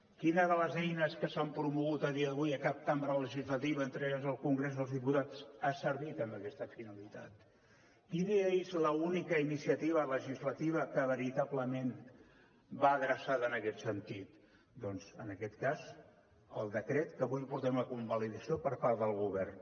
quina de les eines que s’han promogut a dia d’avui a cap cambra legislativa entre elles el congrés dels diputats ha servit amb aquesta finalitat quina és l’única iniciativa legislativa que veritablement va adreçada en aquest sentit doncs en aquest cas el decret que avui portem a convalidació per part del govern